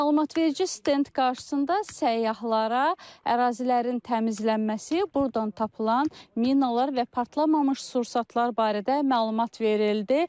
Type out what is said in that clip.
Məlumatverici stend qarşısında səyyahlara ərazilərin təmizlənməsi, burdan tapılan minalar və partlamamış sursatlar barədə məlumat verildi.